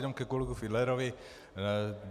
Jenom ke kolegovi Fiedlerovi.